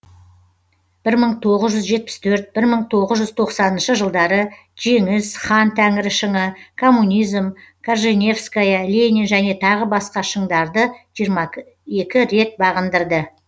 бір мың тоғыз жүз жетпіс төрт бір мың тоғыз жүз тоқсаныншы жылдары жеңіс хан тәңірі шыңы коммунизм корженевская ленин және тағы басқа шыңдарды жиырма екі рет бағындырды